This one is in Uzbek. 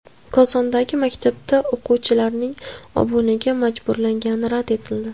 Kosondagi maktabda o‘quvchilarning obunaga majburlangani rad etildi.